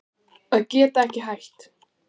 Að geta ekki hætt